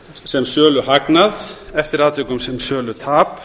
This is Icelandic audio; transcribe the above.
sem söluhagnað eftir atvikum sem sölutap